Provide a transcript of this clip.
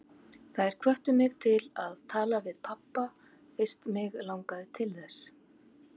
Þær hvöttu mig til að tala við pabba fyrst mig langaði til þess.